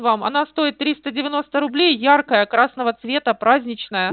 вам она стоит тристь девяность рублей ярко-красного цвета праздничная